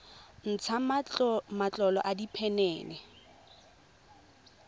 ntsha matlolo a diphenene le